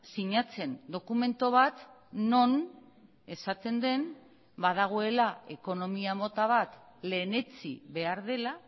sinatzen dokumentu bat non esaten den badagoela ekonomia mota bat lehenetsi behar dela